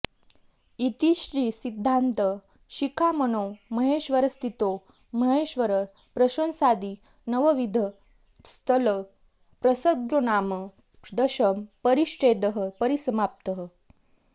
इति श्री सिद्धान्त शिखामणौ महेश्वरस्थितो महेश्वर प्रशंसादि नवविध स्थल प्रसङ्गोनाम दशम परिच्छेदः परिसमाप्तः